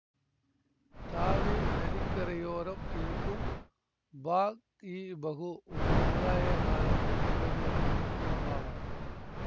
தாவி நதிக்கரையோரம் இருக்கும் பாக்இபஹு ஒரு முலாகய காலத்து பிரபலமான பூங்காவாகும்